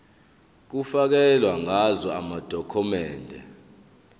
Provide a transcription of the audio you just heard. kufakelwe ngazo amadokhumende